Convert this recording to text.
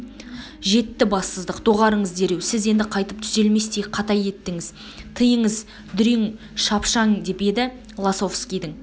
жетті бассыздық доғарыңыз дереу сіз енді қайтып түзелместей қата еттіңіз тыйыңыз дүрен шапшаң деп еді лосовскийдің